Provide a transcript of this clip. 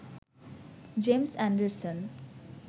James Anderson